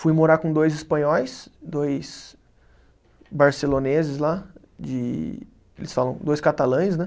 Fui morar com dois espanhóis, dois barceloneses lá, eles falam, dois catalães, né?